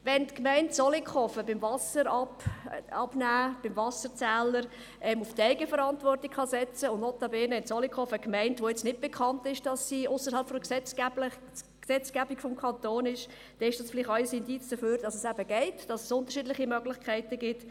Wenn die Gemeinde Zollikofen beim Ablesen des Wasserzählers auf die Eigenverantwortung setzen kann – Zollikofen ist notabene keine Gemeinde, die dafür bekannt ist, dass sie sich ausserhalb der Gesetzgebung des Kantons bewegt –, dann ist das vielleicht auch ein Indiz dafür, dass es eben geht, dass es unterschiedliche Möglichkeiten gibt.